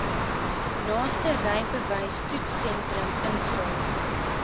naaste rybewystoetssentrum invul